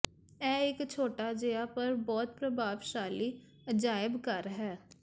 ਇਹ ਇਕ ਛੋਟਾ ਜਿਹਾ ਪਰ ਬਹੁਤ ਪ੍ਰਭਾਵਸ਼ਾਲੀ ਅਜਾਇਬ ਘਰ ਹੈ